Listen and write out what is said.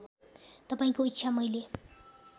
तपाईँको इच्छा मैले